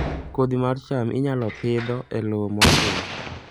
Kodhi mar cham inyalo Pidho e lowo motwo